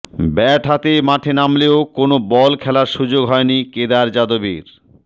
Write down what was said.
bat হাতে মাঠে নামলেও কোনও বল খেলার সুযোগ হয়নি কেদার যাদবের